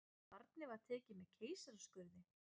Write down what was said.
Barnið var tekið með keisaraskurði